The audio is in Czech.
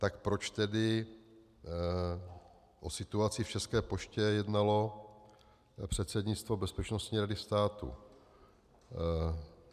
Tak proč tedy o situaci v České poště jednalo předsednictvo Bezpečnostní rady státu?